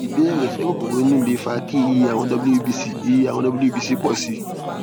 ìbéèrè ṣé kokoro inú lè fa kí iye àwọn wbc iye àwọn wbc pọ sí i